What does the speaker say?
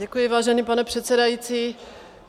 Děkuji, vážený pane předsedající.